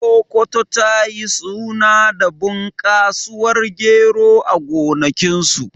Sokoto ta yi suna da bunƙasuwar gero a gonakinsu.